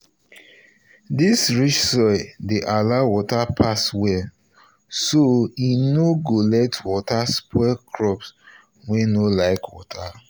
this rich soil dey allow water pass well so e no go let water spoil crops wey no like water.